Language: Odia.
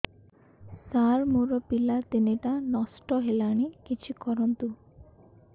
ସାର ମୋର ପିଲା ତିନିଟା ନଷ୍ଟ ହେଲାଣି କିଛି କରନ୍ତୁ